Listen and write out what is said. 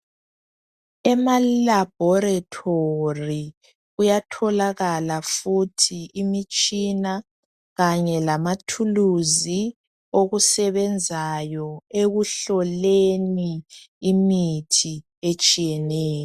Emalabhorethori kuyatholakala futhi imitshina kanye lamathuluzi okusebenzayo ekuhloleni imithi etshiyeneyo.